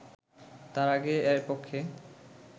তার আগে এর পক্ষে